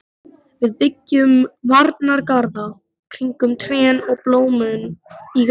Við byggjum varnargarða kringum trén og blómin í rokinu.